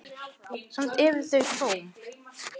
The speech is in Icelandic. Samt eru þau tóm.